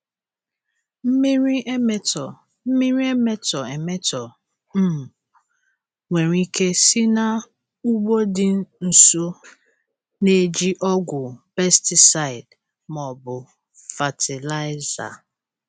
Mmiri emetọ Mmiri emetọ emetọ um nwere ike si n'ugbo dị nso na-eji ọgwụ pesticide ma ọ bụ fatịlaịza.